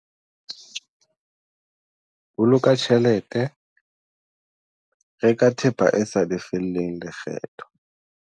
Boloka tjhelete- Reka thepa e sa lefellweng lekgetho